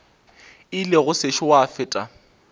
ile go sešo gwa feta